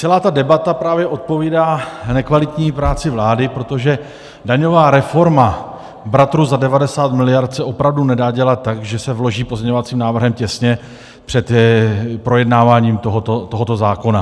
Celá ta debata právě odpovídá nekvalitní práci vlády, protože daňová reforma bratru za 90 miliard se opravdu nedá dělat tak, že se vloží pozměňovacím návrhem těsně před projednáváním tohoto zákona.